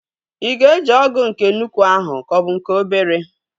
Ị ga-eji ọgụ nke nnukwu ahụ ka ọ bụ nke obere?